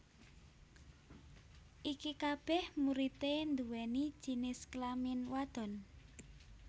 iki kabeh muridé nduwéni jinis kelamin wadon